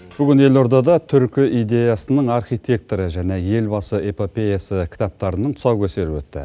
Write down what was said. бүгін елордада түркі идеясының архитекторы және елбасы эпопеясы кітаптарының тұсау кесері өтті